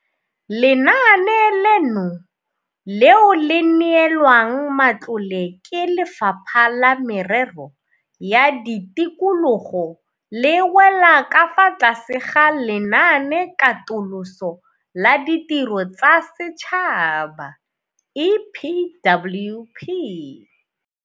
Lenaane leno, leo le neelwang matlole ke Lefapha la Merero ya Tikologo, le wela ka fa tlase ga Lenaanekatoloso la Ditiro tsa Setšhaba, EPWP.